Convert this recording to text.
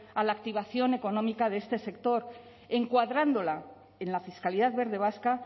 a la activación económica de este sector encuadrándola en la fiscalidad verde vasca